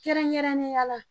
Kɛrɛnkɛrɛnnenya la